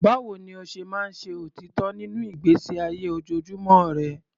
Báwo ni o ṣe máa ń ṣe òtítọ́ nínú ìgbésí ayé ojoojúmọ́ rẹ?